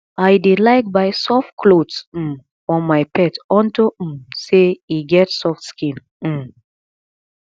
i dey like buy soft clothes um for my pet unto um say e get soft skin um